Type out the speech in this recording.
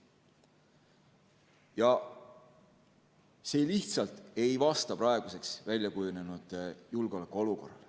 See lihtsalt ei vasta praeguseks väljakujunenud julgeolekuolukorrale.